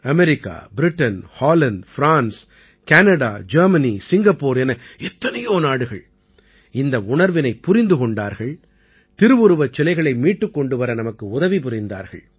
America Britain Holland France Canada Germany Singapore என எத்தனையோ நாடுகள் இந்த உணர்வினைப் புரிந்து கொண்டார்கள் திருவுருவச் சிலைகளை மீட்டுக் கொண்டு வர நமக்கு உதவி புரிந்தார்கள்